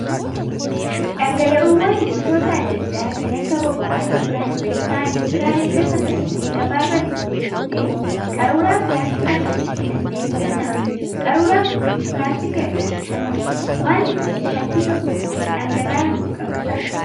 Dhangala'oowwan gosoota adda addaa kan akka boba'aa yookaan zayitaa liitiraan erga safarannee gabaarraa bitnee booddee qaruuraa pilaastikaa kanatti naqnee bitanna. Qaruuraan kunis pilaastika irraa oomishama. wanti kunis shakkii tokko malee dhangala'aa nuuf qabata.